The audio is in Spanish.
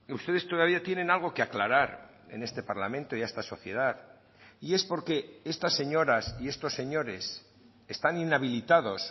ustedes todavía tienen algo que aclarar en este parlamento y a esta sociedad y es porque estas señoras y estos señores están inhabilitados